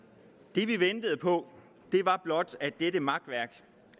det vi ventede på var blot at dette makværk